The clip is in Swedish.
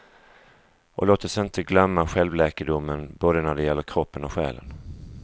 Och låt oss inte glömma självläkedomen både när det gäller kroppen och själen.